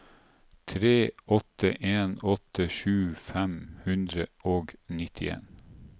tre åtte en åtte tjue fem hundre og nittien